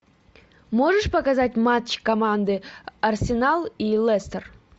можешь показать матч команды арсенал и лестер